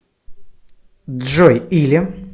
джой или